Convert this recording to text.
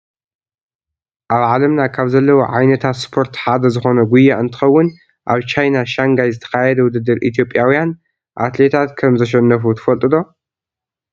ኣብ ዓለምና ካብ ዘለዉ ዓይነታት ስፖርት ሓደ ዝኮነ ጉያ እንትከውን፣ ኣብ ቻይና ሻንጋይ ዝተካየደ ውድድር ኢትዮጵያዊያን ኣትሌታት ከምዘሸነፉ ትፈልጡ ዶ?